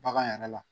Bagan yɛrɛ la